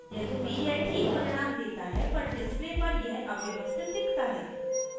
यद्यपि यह ठीक परिणाम देता है पर display पर यह अव्यवस्थित दिखता है